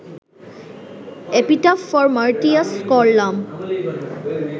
epitaph for martyrs করলাম